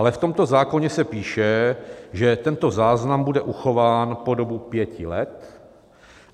Ale v tomto zákoně se píše, že tento záznam bude uchován po dobu pěti let.